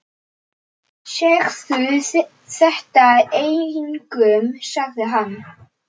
Segðu þetta engum sagði hann.